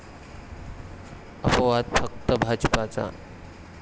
अपवाद फक्त भाजपचा.